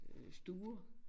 Stuer